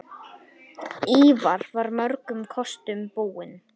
Ívar var mörgum kostum búinn.